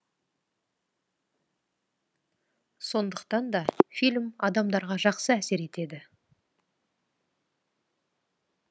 сондықтан да фильм адамдарға жақсы әсер етеді